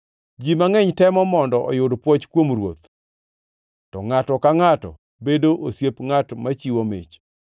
Ji mangʼeny temo mondo oyud pwoch kuom ruoth, to ngʼato ka ngʼato bedo osiep ngʼat machiwo mich.